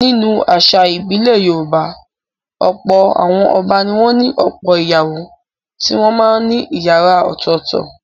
Nínú àṣà ìbílẹ̀ Yorùbá, ọ̀pọ̀ àwọn ọba ni wọ́n ní ọ̀pọ̀ ìyàwó tí wọ́n máa ń ní ìyàrá ọ̀tọ̀ọ̀tọ̀.